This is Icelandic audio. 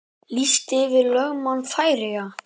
Listi yfir lögmenn Færeyja